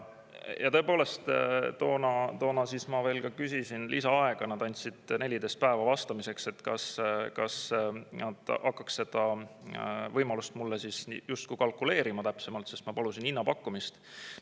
Ja tõepoolest toona ma küsisin lisaaega, nad andsid 14 päeva vastamiseks, kas nad hakkaks seda võimalust mulle justkui kalkuleerima täpsemalt, sest ma palusin hinnapakkumist.